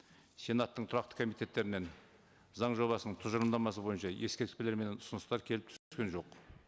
сенаттың тұрақты комитеттерінен заң жобасының тұжырымдамасы бойынша ескертулер мен ұсыныстар келіп түскен жоқ